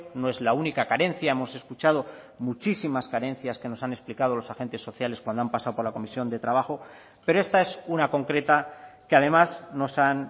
no es la única carencia hemos escuchado muchísimas carencias que nos han explicado los agentes sociales cuando han pasado por la comisión de trabajo pero esta es una concreta que además nos han